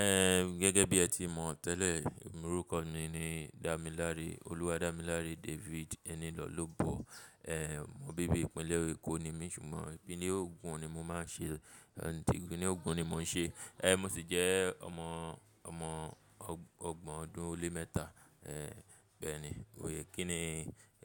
Ẹ gẹ́gẹ́ bí ẹ ti mọ̀ tẹ́lẹ̀, orúkọ mi ni Damilare, Oluwadamilare David Enilolubo. Ehn, mo bíbí ìpínlẹ̀ Èkó ni mí ṣùgbọ́n ìpínlẹ̀ Ogun ni mo máa ń ṣe, ti ìpínlẹ̀ Ogun ni mò ń ṣe. Ehn, mo sì jẹ́ ọmọ, ọmọ ọgbọ̀n ọdún ó lé mẹ́ta. Ehn, bẹ́ẹ̀ ni, ó yẹ kí ni